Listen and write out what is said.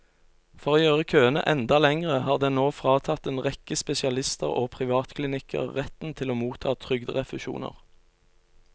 For å gjøre køene enda lengre har den nå fratatt en rekke spesialister og privatklinikker retten til å motta trygderefusjoner.